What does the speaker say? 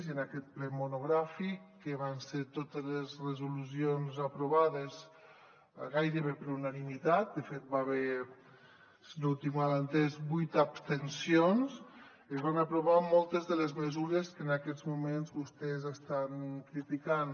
i en aquest ple monogràfic que hi van ser totes les resolucions aprovades gairebé per unanimitat de fet hi va haver si no ho tinc mal entès vuit abstencions es van aprovar moltes de les mesures que en aquests moments vostès estan criticant